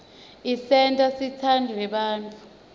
isenta sitsandze bantfu